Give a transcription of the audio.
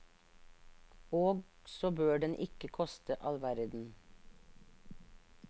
Og så bør den ikke koste allverden.